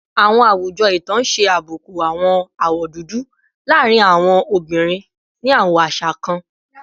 Awọn awujọ itan ṣe abuku awọn awọ dudu laarin awọn obinrin ni awọn aṣa kan